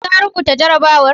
Ka rubuta jarrabawa?